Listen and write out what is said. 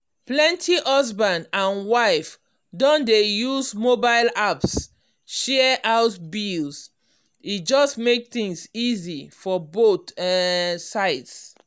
plenty husband and wife don dey use mobile apps share house bills e just make things easy for both um sides.